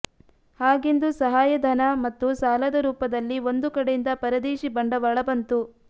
ಹಾಗೆಂದು ಸಹಾಯ ಧನ ಮತ್ತು ಸಾಲದ ರೂಪದಲ್ಲಿ ಒಂದು ಕಡೆಯಿಂದ ಪರದೇಶಿ ಬಂಡವಾಳ ಬಂತು